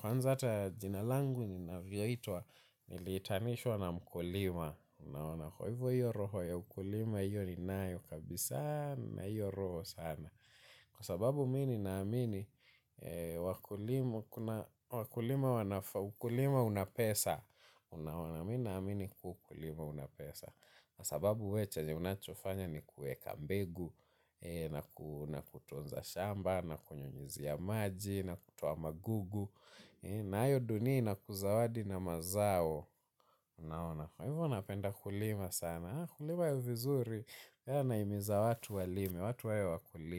Kwanza ata jina langu ni naviyoitwa, nilitanishwa na mkulima, nalima kwa hivyo roho ya mkulima, hivyo ni nayo kabisa na hivyo roho sana. Kwa sababu mi ni naamini wakulima una pesa. Unaona mi naamini kuwa ukulima unapesa. Kwa sababu we chenye unachofanya ni kuweka mbegu. Na kutunza shamba, na kunyunyizia maji, na kutoa magugu na hayo duni na kuzawadi na mazao. Kwa hivyo unapenda kulima sana. Kulima yu vizuri, ya naimiza watu walimi, watu wawe wakulima.